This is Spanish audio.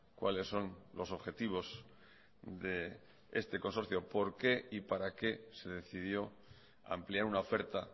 cuáles son los objetivos de este consorcio por qué y para qué se decidió ampliar una oferta